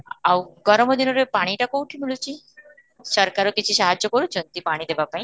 ଆଉ ଗରମ ଦିନରେ ପାଣିଟା କୋଉଠି ମିଳୁଛି, ସରକାର କିଛି ସାହାଯ୍ୟ କରୁଛନ୍ତି ପାଣି ଦେବା ପାଇଁ?